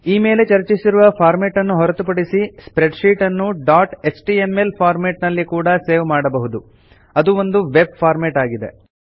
ಈ ಮೇಲೆ ಚರ್ಚಿಸಿರುವ ಫಾರ್ಮೆಟ್ ನ್ನು ಹೊರತುಪಡಿಸಿ ಸ್ಪ್ರೆಡ್ ಶೀಟ್ ಅನ್ನು ಡಾಟ್ ಎಚ್ಟಿಎಂಎಲ್ ಫಾರ್ಮೆಟ್ ನಲ್ಲಿ ಕೂಡ ಸೇವ್ ಮಾಡಬಹುದು ಅದು ಒಂದು ವೆಬ್ ಫಾರ್ಮೆಟ್ ಆಗಿದೆ